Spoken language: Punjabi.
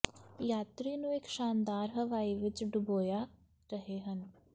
ਯਾਤਰੀ ਨੂੰ ਇੱਕ ਸ਼ਾਨਦਾਰ ਹਵਾਈ ਵਿੱਚ ਡੁਬੋਇਆ ਰਹੇ ਹਨ